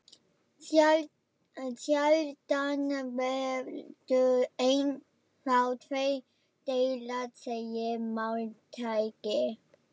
Sjaldan veldur einn þá tveir deila, segir máltækið.